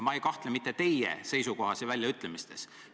Ma ei kahtle mitte teie seisukohas ja väljaütlemistes.